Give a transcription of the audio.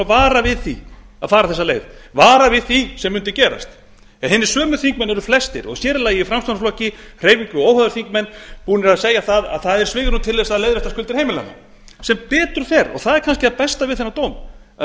vara við því að fara þessa leið vara við því sem mundu gerast en hinir sömu þingmenn eru flestir og sér í lagi í framsóknarflokki og óháðir þingmenn búnir að segja að það er svigrúm til að leiðrétta skuldir heimilanna sem betur fer og það er kannski það besta við þennan dóm að